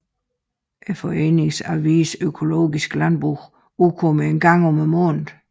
Foreningens avis Økologisk Landbrug udkommer én gang om måneden